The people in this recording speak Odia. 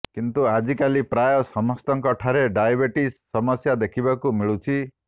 କିନ୍ତୁ ଆଜିକାଲି ପ୍ରାୟ ସମସ୍ତଙ୍କ ଠାରେ ଡାଇବେଟିଜ୍ ସମସ୍ୟା ଦେଖିବାକୁ ମିଳୁଛି